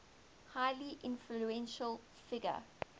highly influential figure